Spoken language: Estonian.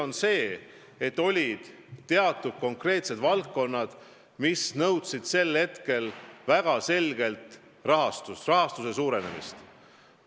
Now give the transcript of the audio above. On ilmne, et siis olid teatud konkreetsed valdkonnad, mis nõudsid väga selgelt rahastuse suurendamist.